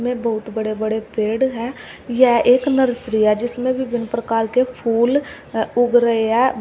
में बहुत बड़े बड़े पेड़ हैं यह एक नर्सरी है जिसमें विभिन्न प्रकार के फूल उग रहे हैं।